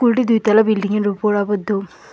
স্কুলটি দুইতলা বিল্ডিংয়ের উপর আবদ্ধ।